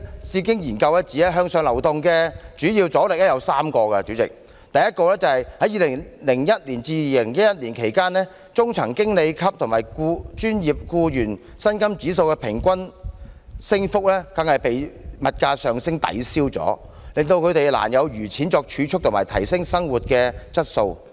智經研究中心指向上流動的主要阻力有3個：第一，在2001年至2011年間，中層經理級與專業僱員薪金指數的平均升幅全被物價上升抵銷，令他們難有餘錢作儲蓄及提升生活質素。